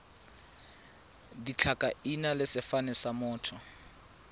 ditlhakaina le sefane sa motho